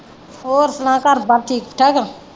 ਹੋਰ ਸੁਣਾ ਘਰ ਦਾ ਠੀਕ ਠਾਕ?